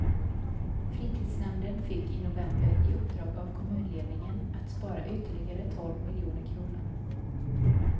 Fritidsnämnden fick i november i uppdrag av kommunledningen att spara ytterligare tolv miljoner kronor.